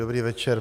Dobrý večer.